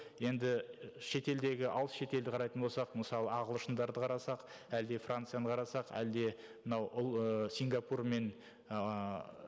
енді шетелдегі алыс шетелді қарайтын болсақ мысалы ағылшындарды қарасақ әлде францияны қарасақ әлде мынау сингапур мен ыыы